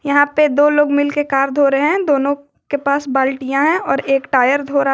यहां पे दो लोग मिलके कार धो रहे है दोनों के पास बाल्टियां है और एक टायर धो रहा--